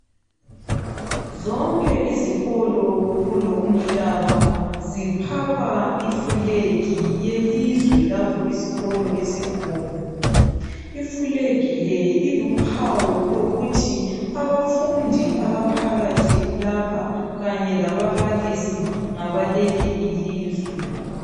Zonke izikolo kulo umhlaba ziphapha ifulegi yelizwe lapho isikolo esikhona. Ifulegi le iluphawu lokuthi abafundi abaphakathi lapha kanye lababalisi ngabaleli ilizwe.